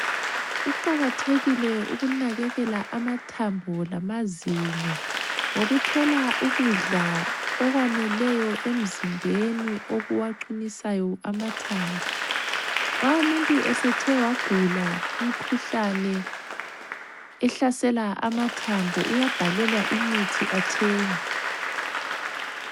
Kuqakathekile ukunakekela amathambo lamazinyo ngokuthola ukudla okwaneleyo emzimbeni okuwaqinisayo amathambo. Nxa umuntu esethe wagula imikhuhlane ehlasela amathambo uyabhalelwa imithi athenge.